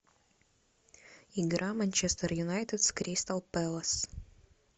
игра манчестер юнайтед с кристал пэлас